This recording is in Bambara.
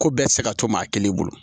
Ko bɛɛ bɛ se ka to maa kelen bolo